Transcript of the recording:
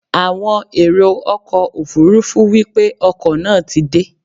Àwọn èrò ọkọ̀ Òfurufú wípé ọkọ̀ náà ti dé.